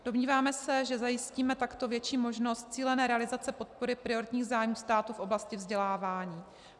Domníváme se, že zajistíme takto větší možnost cílené realizace podpory prioritních zájmů státu v oblasti vzdělávání.